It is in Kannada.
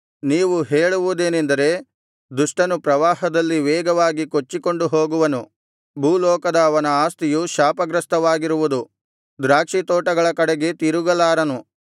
ನೀವು ಹೇಳುವುದೇನೆಂದರೆ ದುಷ್ಟನು ಪ್ರವಾಹದಲ್ಲಿ ವೇಗವಾಗಿ ಕೊಚ್ಚಿಕೊಂಡು ಹೋಗುವನು ಭೂಲೋಕದ ಅವನ ಆಸ್ತಿಯು ಶಾಪಗ್ರಸ್ತವಾಗಿರುವುದು ದ್ರಾಕ್ಷಿತೋಟಗಳ ಕಡೆಗೆ ತಿರುಗಲಾರನು